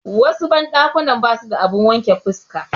Wasu banɗakunan basu da abun wanke fuska.